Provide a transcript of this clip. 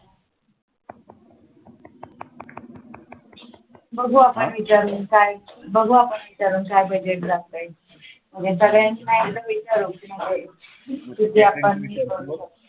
बघू आपण विचारून बघू आपण विचारून काय budget जाते ते नाहीतर एकदा विचारून किती आपण